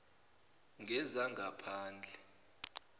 wezangaphandle